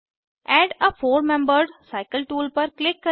add a four membered cycle tool पर click करें